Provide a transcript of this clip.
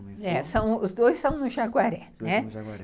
Os dois são no Jaguaré. Os dois são no Jaguaré.